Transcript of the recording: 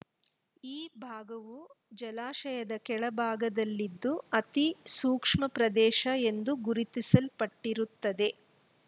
ಈ ಭಾಗವು ಜಲಾಶಯದ ಕೆಳ ಭಾಗದಲ್ಲಿದ್ದು ಅತಿ ಸೂಕ್ಷ್ಮ ಪ್ರದೇಶ ಎಂದು ಗುರುತಿಸಲ್ಪಟ್ಟಿರುತ್ತದೆ